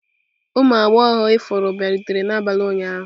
Ụmụ agbọghọ ifuru bịarutere n'abalị ụnyaahụ?